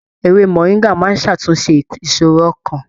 Ewé moringa máa n ṣàtúnṣe ìṣòro ọkàn.